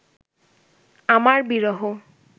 আমার বিরহ